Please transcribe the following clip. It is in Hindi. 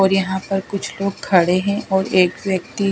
और यहाँ पर कुछ लोग खड़े हैं और एक व्यक्ति--